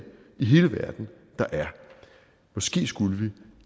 i hele verden der er måske skulle vi